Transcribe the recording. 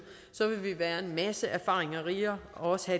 vil vi være en masse erfaringer rigere og også